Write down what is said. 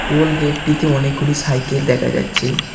Toll গেটটিতে -টিতে অনেকগুলি সাইকেল দেখা যাচ্ছে।